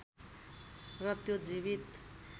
र त्यो जीवित